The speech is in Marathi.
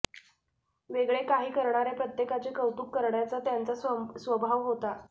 वेगळे काही करणाऱ्या प्रत्येकाचे कौतुक करण्याचा त्यांचा स्वभाव होता